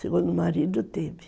Segundo o marido, teve.